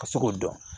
Ka se k'o dɔn